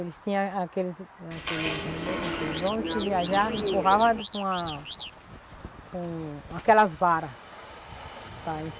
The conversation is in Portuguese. Eles tinha aqueles aqueles home, aqueles homens que viajava e empurrava com a... com aquelas varas.